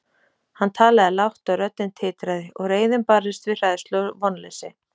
Hann talaði lágt, og röddin titraði, og reiðin barðist við hræðslu og vonleysi.